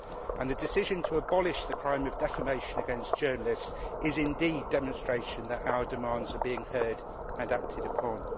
And the decision to abolish the crime of defamation against journalists is indeed demonstration that our demands are being heard and acted upon.